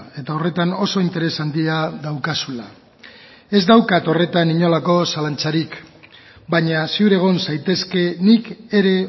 eta horretan oso interes handia daukazula ez daukat horretan inolako zalantzarik baina ziur egon zaitezke nik ere